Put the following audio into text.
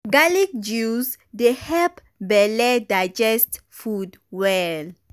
garlic juice dey help belle digest food well.